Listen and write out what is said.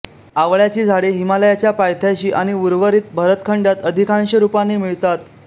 आवळ्याची झाडे हिमालयाच्या पायथ्याशी आणि उर्वरित भरतखंडात अधिकांश रूपाने मिळतात